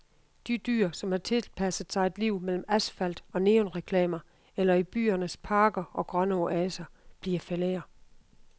De dyr, som har tilpasset sig et liv mellem asfalt og neonreklamer eller i byernes parker og grønne oaser, bliver flere.